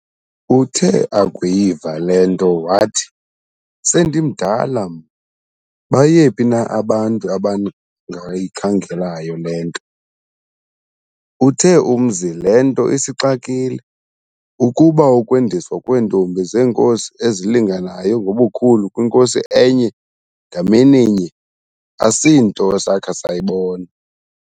Uthe akuyiva yonke le nto wathi, "sendimdala mna, bayephi na abantu abangayikhangelayo le nto.". Uthe umzi le nto isixakile, kuba ukwendiswa kweentombi zeenkosi ezilinganayo ngobukhulu kwinkosi enye, ngamininye, asinto sakha sayibona.